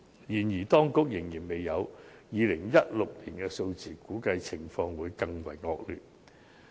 然而，當局仍然未有2016年的數字，估計情況更為惡劣。